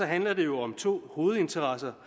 handler det jo om to hovedinteresser